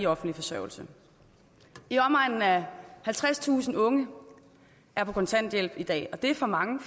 offentligt forsørgelse i omegnen af halvtredstusind unge er på kontanthjælp i dag og det er for mange